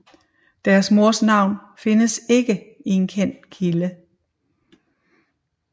Deres mors navn findes ikke i en kendt kilde